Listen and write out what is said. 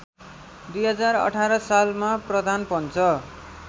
२०१८ सालमा प्रधानपञ्च